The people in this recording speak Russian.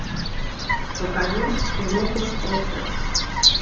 покажи киноху остров